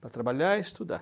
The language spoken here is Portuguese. Para trabalhar e estudar.